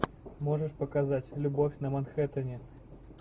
можешь показать любовь на манхэттене